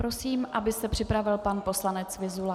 Prosím, aby se připravil pan poslanec Vyzula.